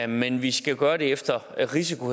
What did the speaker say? men vi skal gøre det efter risiko